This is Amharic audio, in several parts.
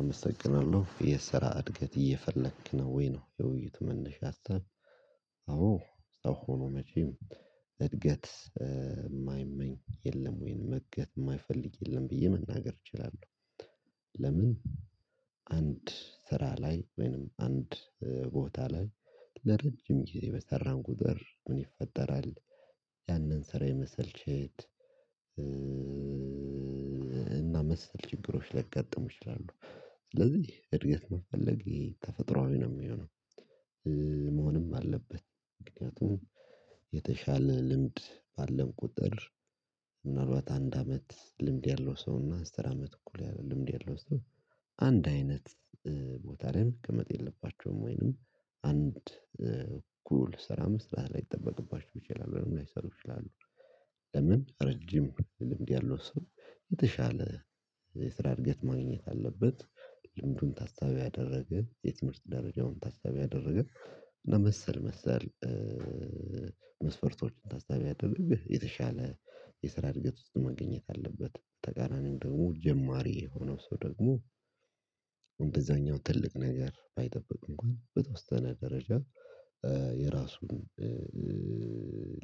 አመሰግናለሁ የስራ እድገት እየፈለክ ነው ወይ? ነው የውይይት መነሻ ሀሳብ አዎ ሰው ሆኖ መቼም እድገት የማይመኝ የለም ወይንም እድገት የማይፈልግ የለም ብዬ መናገር እችላለሁ ለምን አንድ ስራ ላይ ወይንም አንድ ቦታ ላይ ለረጅም ጊዜ በሰራን ቁጥር ምን ይፈጠራል ያንን ስራ የመሰልቸት እና መሰል ችግሮች ላይ ገጥሞ ይችላሉ ስለዚህ እድገት መፈለግ ተፈጥሮአዊ ነው የሚሆነው መሆንም አለበት ምክንያቱም የተሻለ ልምድ ባለን ቁጥር ምናልባት አንድ አመት ልምድ ያለው ሰው አስር አመት እኩል ያለው ልምድ የለውም አንድ አይነት ቦታ ላይ መቀመጥ የለባቸውም ወይንም አንድ እኩል ስራ መስራት ላይጠበቅባችሁ ይችላሉ ምን ላይሰሩ ይችላሉ ለምን ረጅም ልምድ ያለው ስም የተሻለ የስራ እድገት ማግኘት አለበት ልምዱን ታሳቢ ያደረገ የትምህርት ደረጃውን ታሳቢ ያደረገ ለመሰል መሰል መስፈርቶችን ታሳቢ ያደረገ የተሻለ የስራ እድገት ውስጥ ማግኘት አለበት ተቃራኒው ደግሞ ጀማሪ የሆነው ሰው ደግሞ እንደዛኛው ትልቅ ነገር ባይጠብቅ እንኳን በተወሰነ ደረጃ የራሱን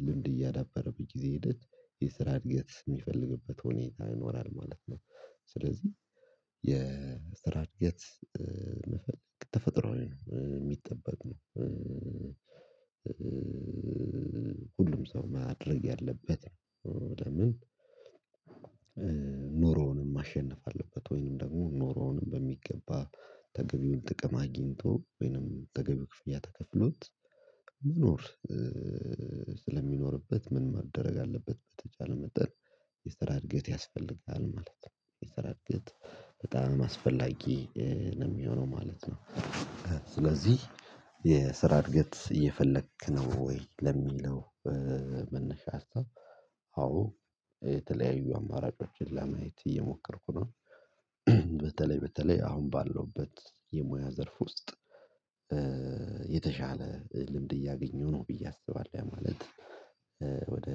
ልምድ እያዳበረ በጊዜ ሄደት የስራ እድገት የሚፈልግበት ሁኔታ ይኖራል ማለት ነው ስለዚህ የስራ እድገት መፈለግ ተፈጥሯዊ የሚጠበቅ ነው ሁሉም ሰው ማድረግ ያለበት ምንድነው ምን ኑሮውንም ማሸነፍ አለበት ወይንም ደግሞ ኖሮውንም በሚገባ ተገቢውን ጥቅም አግኝቶ ወይንም ተገቢ ክፍያ ተከፍሎት መኖር ስለሚኖርበት ምን ማድረግ አለበት በተቻለ መጠን የስራ ያስፈልጋል ማለት ነው የስራ እድገት በጣም አስፈላጊ ነው የሚሆነው ማለት ነው ስለዚህ የስራ እድገት እየፈለክ ነው ወይ ለሚለው መነሻ ሀሳብ አዎ የተለያዩ አማራጮችን ለማየት እየሞከርኩ ነው በተለይ በተለይ አሁን ባለሁበት የሙያ ዘርፍ ውስጥ የተሻለ ልምድ እያገኘሁ ነው ብዬ አስባለሁ ያ ማለት ወደ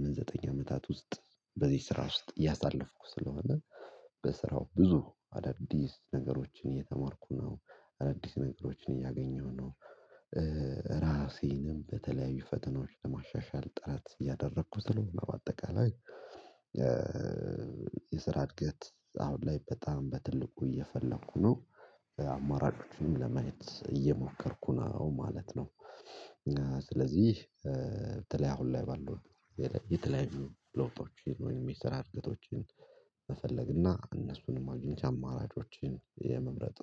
ምን ዘጠኝ አመታት ውስጥ በዚህ ስራ ውስጥ እያሳለፍኩ ስለሆነ በስራው ብዙ አዳዲስ ነገሮችን እየተማርኩ ነው አዳዲስ ነገሮችን እያገኘሁ ነው ራሴንም በተለያዩ ፈተናዎች ለማሻሻል ጥረት እያደረኩ ስለሆነ በአጠቃላይ የስራ እድገት አሁን ላይ በጣም በትልቁ እየፈለኩ ነው አማራጮቹም ለመሄድ እየሞከርኩ ነው ማለት ነው ስለዚህ በተለይ አሁን ላይ ባለው የተለያዩ ለውጦችን ወይም የስራ እድገቶችን መፈለግና እነሱንም አግኝቼ አማራጮችን የመምረጥ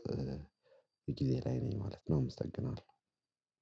ጊዜ ላይ ነኝ ማለት ነው እመሰግናለሁ